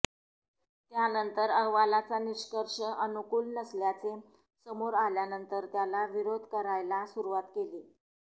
त्यानंतर अहवालाचा निष्कर्ष अनुकूल नसल्याचे समोर आल्यानंतर त्याला विरोध करायला सुरुवात केली